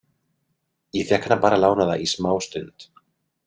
Ég fékk hana bara lánaða í smá stund.